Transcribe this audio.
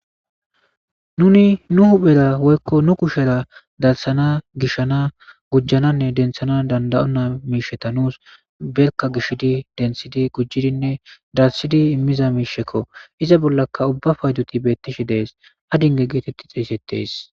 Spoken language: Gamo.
Nuni nu huphphera woykko nu kushshera darssana gishshana gujjananne denththana danda7ona mishsheta nusi berkka gishshidi denththidi gujjidine darssidi immiza mishsheko iiza bollaka ubba paydoti bettishe de7es aadingge getteti xeyssetes.